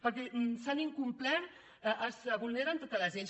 perquè s’han incomplert es vulneren totes les lleis